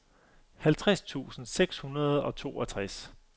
halvtreds tusind seks hundrede og toogtres